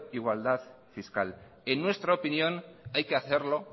igualdad fiscal en nuestra opinión hay que hacerlo